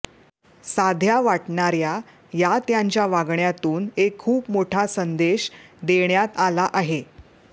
साध्या वाटणाऱ्या या त्यांच्या वागण्यातून एक खूप मोठा संदेश देण्यात आला आहे